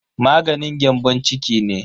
Maganin gyambon ciki ne.